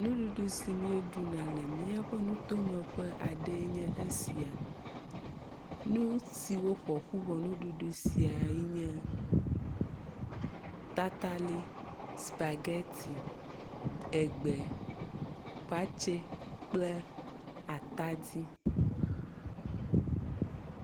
Nuɖuɖu si míeɖuna le míaƒe nutome ƒe aɖee nye esia. Nu siwo ƒoƒu wɔ esiae nye tatali, spageti, egbe, watse kple atadi.